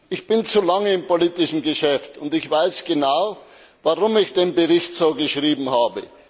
Ich bin zu lange im politischen Geschäft und ich weiß genau, warum ich den Bericht so geschrieben habe.